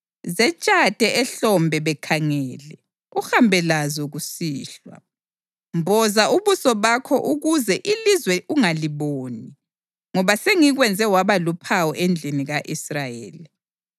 Zetshathe ehlombe bekhangele uhambe lazo kusihlwa. Mboza ubuso bakho ukuze ilizwe ungaliboni, ngoba sengikwenze waba luphawu endlini ka-Israyeli.”